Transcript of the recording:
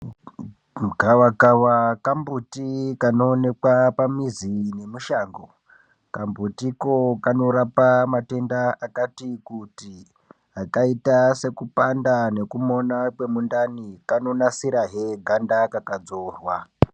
Gava kava kambuti kanoonekwa pamuzi nemushango kambutiko kanorapa matenda akati kuti akaita sekupanda nekumona kwemundani kanonasirahe ganda kakadzorwa.